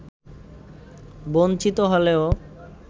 বঞ্চিত হলেও